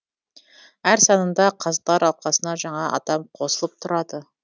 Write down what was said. әр санында қазылар алқасына жаңа адам қосылып тұрады